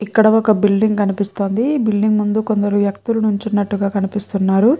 ఇక్కడ ఒక బిల్డింగ్ కనిపిస్తుంది ఈ బిల్డింగ్ ముందు కొందరు వ్యక్తులు నించునట్టుగా కనిపిస్తున్నారు.